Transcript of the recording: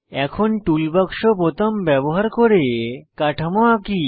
এখন টুলবাক্স বোতাম ব্যবহার করে কাঠামো আঁকি